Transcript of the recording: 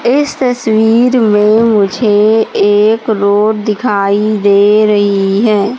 इस तस्वीर में मुझे एक रोड दिखाई दे रही है।